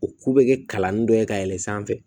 O ko bɛ kɛ kalan nin dɔ ye ka yɛlɛn sanfɛ